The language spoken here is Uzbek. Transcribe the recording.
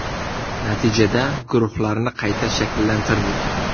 Natijada, guruhlarni qayta shakllantirdik.